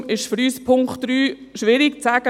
Darum ist es für uns beim Punkt 3 schwierig zu sagen.